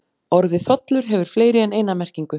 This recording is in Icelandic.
Orðið þollur hefur fleiri en eina merkingu.